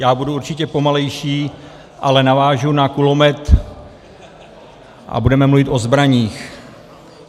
Já budu určitě pomalejší, ale navážu na kulomet a budeme mluvit o zbraních.